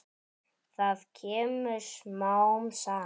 Það kemur smám saman.